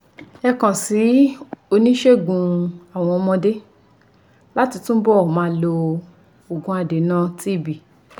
Ẹ kàn sí oníṣègùn àwọn ọmọdé láti túbọ̀ máa lo òògùn adènà TB.